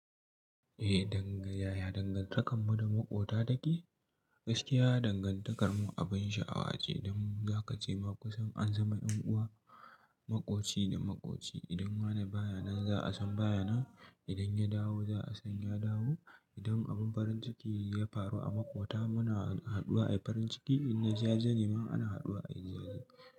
Eh, ya dangantaka da maƙota take. Gaskiya dangantakarmu abin sha'awa ce, dan za ka ce ma kusan an zama ɗan'uwa, maƙoci da maƙoci. Idan wani baya nan za a san baya nan, idan ya dawo za a san ya dawo. Idan abin farin ciki ya faru a maƙota muna haɗuwa a yi farin ciki, in na jaje ne ma ana haɗuwa a yi zazzali.